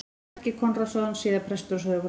Helgi Konráðsson, síðar prestur á Sauðárkróki.